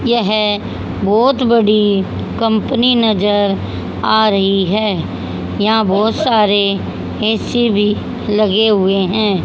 यह बहुत बड़ी कंपनी नजर आ रही है यहां बहुत सारे ए_सी भी लगे हुए हैं।